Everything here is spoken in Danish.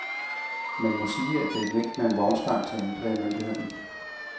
Man må sige, at det er et vink med en vognstang til anklagemyndigheden.